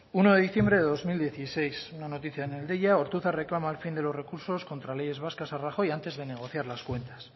uno de diciembre de dos mil dieciséis una noticia en el deia ortuzar reclama el fin de los recursos contra leyes vascas a rajoy antes de negociar las cuentas